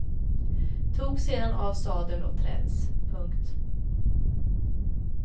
Tog sedan av sadel och träns. punkt